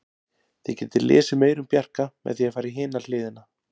Þið getið lesið meira um Bjarka með því að fara í hina hliðina.